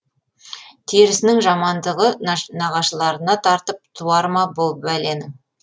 терісінің жамандығы нағашыларына тартып туар ма бұ бәленің